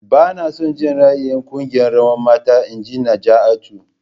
Bana son ra'ayin kungiyar rawan mata.. Inji Najaatu.